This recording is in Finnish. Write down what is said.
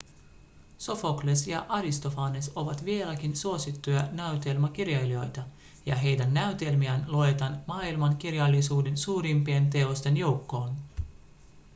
sofokles ja aristofanes ovat vieläkin suosittuja näytelmäkirjailijoita ja heidän näytelmiään luetaan maailmankirjallisuuden suurimpien teosten joukkoon